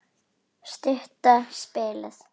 Stutta spilið.